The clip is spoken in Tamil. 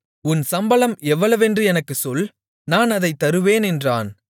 உன் சம்பளம் எவ்வளவென்று எனக்குச் சொல் நான் அதைத் தருவேன் என்றான்